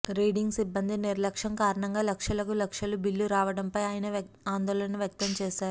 reading సిబ్బంది నిర్లక్ష్యం కారణంగా లక్షలకు లక్షలు బిల్లు రావటంపై ఆయన ఆందోళన వ్యక్తం చేశారు